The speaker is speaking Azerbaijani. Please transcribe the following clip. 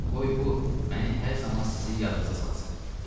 Qoy bu məni hər zaman sizin yadınızda salsın.